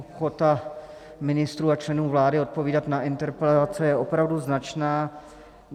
Ochota ministrů a členů vlády odpovídat na interpelace je opravdu značná.